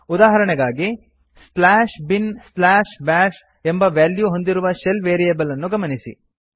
ಉದಾಹರಣೆಗಾಗಿ slash bin slash bash ಎಂಬ value ಹೊಂದಿರುವ ಶೆಲ್ ವೇರಿಯೇಬಲ್ ಅನ್ನು ಗಮನಿಸಿ